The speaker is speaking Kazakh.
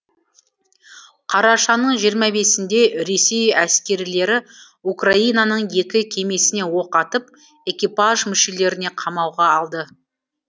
қарашаның жиырма бесінде ресей әскерилері украинаның екі кемесіне оқ атып экипаж мүшелерін қамауға алды